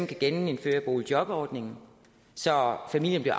kan genindføre boligjobordningen så familien